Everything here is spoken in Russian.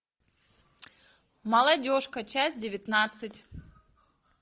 молодежка часть девятнадцать